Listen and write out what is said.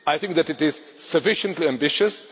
I think that it is sufficiently ambitious.